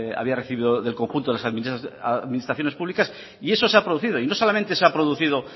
había recibido del conjunto de las administraciones públicas y eso se ha producido y no solamente se ha producido